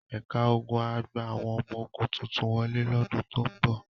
Ẹ̀ka ogun á gba àwọn ọmọ ogun tuntun wọlé lọ́dún tó ń bọ̀.